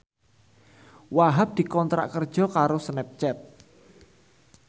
Wahhab dikontrak kerja karo Snapchat